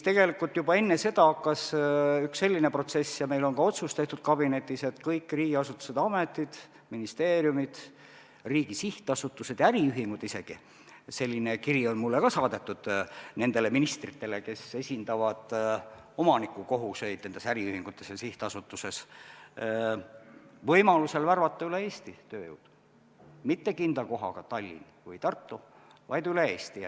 Tegelikult juba enne seda hakkas üks selline protsess ja meil on ka otsus tehtud kabinetis, et kõik riigiasutused ja -ametid, ministeeriumid, isegi riigi sihtasutused ja äriühingud võimaluse korral värbaksid tööjõudu üle Eesti, mitte Tallinnas või Tartus, vaid üle Eesti.